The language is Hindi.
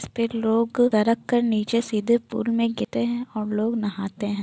इस पे लोग सरक कर नीचे सीधे पूल में गिरते हैं और लोग नहाते हैं।